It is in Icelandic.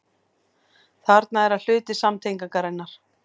Þarna er að hluti samtengingarinnar.